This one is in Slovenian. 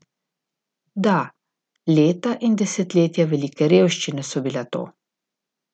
Da, leta in desetletja velike revščine so bila to.